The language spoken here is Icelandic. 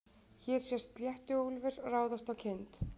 Hér sést sléttuúlfur ráðast á kind.